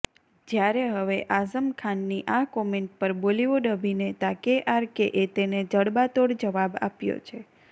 જ્યારે હવે આઝમ ખાનની આ કોમેન્ટ પર બોલીવુડ અભિનેતા કેઆરકેએ તેને જડબાતોડ જવાબ આપ્યો છે